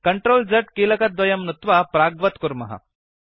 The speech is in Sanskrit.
CTRL Z कीलकद्वयं नुत्वा प्राग्वत् कुर्मः